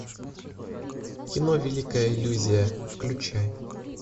кино великая иллюзия включай